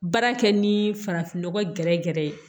Baara kɛ ni farafinnɔgɔ gɛrɛ gɛrɛ ye